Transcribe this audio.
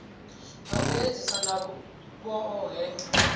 ha u edzisa na vhohe